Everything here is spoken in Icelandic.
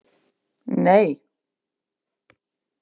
Nei